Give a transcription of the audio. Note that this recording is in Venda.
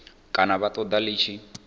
kana vha ṱoḓa ḽi tshi